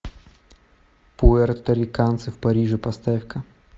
пуэрториканцы в париже поставь ка